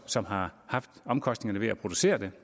som har haft omkostningerne ved at producere det